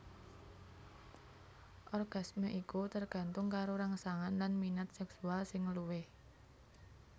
Orgasme iku tergantung karo rangsangan lan minat seksual sing luwih